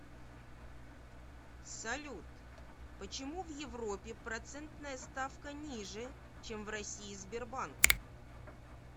салют почему в европе процентная ставка ниже чем в россии сбербанк